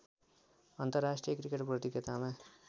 अन्तर्राष्ट्रिय क्रिकेट प्रतियोगितामा